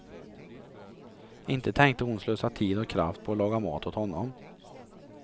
Inte tänkte hon slösa tid och kraft på att laga mat åt honom.